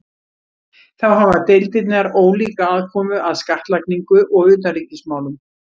Þá hafa deildirnar ólíka aðkomu að skattlagningu og utanríkismálum.